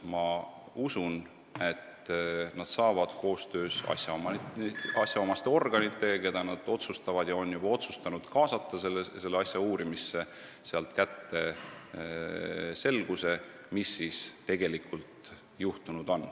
Ma usun, et nad saavad koostöös asjaomaste organitega, keda nad otsustavad ja on juba otsustanud kaasata selle asja uurimisse, sealt kätte selguse, mis siis tegelikult juhtunud on.